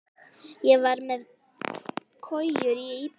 Ég var með kojur í íbúðinni.